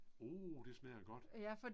Oh det smager godt